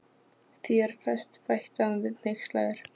Þér ferst, bætti hann við hneykslaður.